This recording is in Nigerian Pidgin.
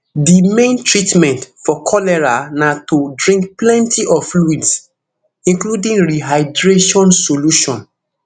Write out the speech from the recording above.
di main treatment for cholera na to drink plenty of fluids including rehydration solution